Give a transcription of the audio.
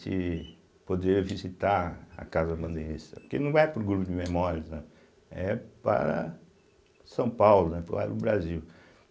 de poder visitar a Casa Bandeirista, porque não vai para o Grupo de Memórias, não, é para São Paulo, né para o Brasil.